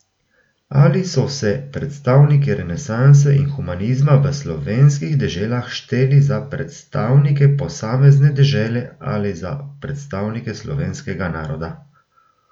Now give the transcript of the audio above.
Ali so se predstavniki renesanse in humanizma v slovenskih deželah šteli za predstavnike posamezne dežele ali za predstavnike slovenskega naroda?